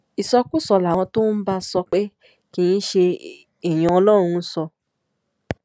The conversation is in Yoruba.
ìsọkúsọ làwọn tó bá ń sọ pé kì í ṣe èèyàn ọlọrun ń sọ